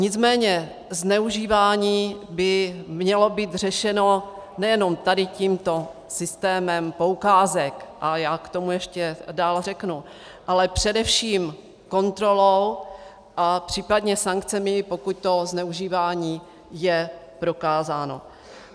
Nicméně zneužívání by mělo být řešeno nejenom tady tímto systémem poukázek, a já k tomu ještě dál řeknu, ale především kontrolou a případně sankcemi, pokud to zneužívání je prokázáno.